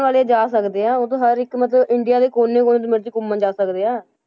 ਵਾਲੇ ਜਾ ਸਕਦੇ ਹੈ, ਉਹ ਤਾਂ ਹਰ ਇੱਕ ਮਤਲਬ ਇੰਡੀਆ ਦੇ ਕੋਨੇ ਕੋਨੇ ਜਿਥੇ ਮਰਜ਼ੀ ਘੁੰਮਣ ਜਾ ਸਕਦੇ ਹਾਂ।